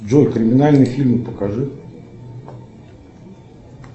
джой криминальные фильмы покажи